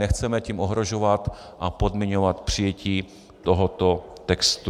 Nechceme tím ohrožovat a podmiňovat přijetí tohoto textu.